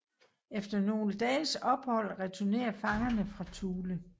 Efter nogle dages ophold returnerer fangerne fra Thule